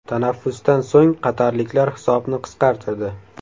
Tanaffusdan so‘ng qatarliklar hisobni qisqartirdi.